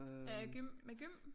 Øh gym med gym?